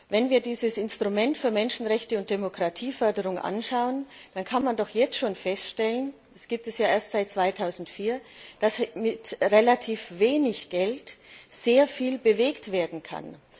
Wenn wir dieses Instrument für Menschenrechte und Demokratieförderung betrachten, dann lässt sich doch jetzt schon feststellen das Instrument gibt es ja erst seit 2004 dass mit relativ wenig Geld sehr viel bewegt werden kann.